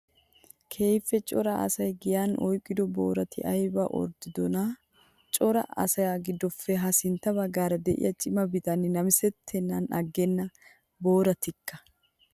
Keehippe cora asay giyan oyqiddo boorati ayba orddiddonaa! Cora asaa gidoppe ha sinttan baggaara de'iya cima bitanne nammissettenaan agenna, booratikka!